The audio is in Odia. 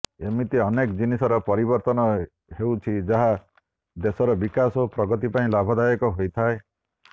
ଏମିତି ଅନେକ ଜିନିଷର ପରିବର୍ତ୍ତନ ହେଉଛି ଯାହା ଦେଶର ବିକାଶ ଓ ପ୍ରଗତି ପାଇଁ ଲାଭଦାୟକ ହୋଇଥାଏ